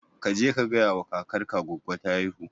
kaje ka gayawa kakar ka goggo ta haihu